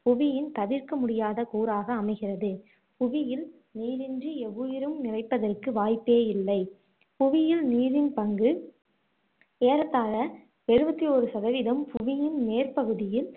புவியின் தவிர்க்க முடியாத கூறாக அமைகிறது புவியில் நீரின்றி எவ்வுயிரும் நிலைப்பதற்கு வாய்ப்பே இல்லை புவியில் நீரின் பங்கு ஏறத்தாழ எழுபத்து ஓரு சதவிதம் பூவியின் மேற்பகுதியில்